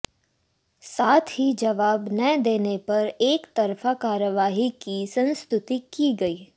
साथ ही जवाब न देने पर एकतरफा कार्रवाई की संस्तुति की गई